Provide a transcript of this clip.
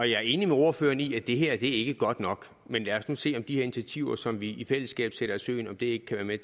jeg er enig med ordføreren i at det her ikke er godt nok men lad os nu se om de her initiativer som vi i fællesskab sætter i søen ikke kan være med